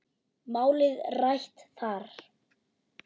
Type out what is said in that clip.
Málið rætt er þar.